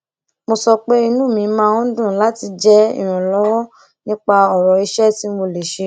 mo sọ pé inú mi máa ń dùn láti jẹ ìrànwọ nípa ọrọ iṣẹ tí mo lè ṣe